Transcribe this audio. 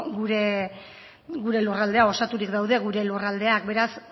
gure lurraldea osaturik daude gure lurraldeak beraz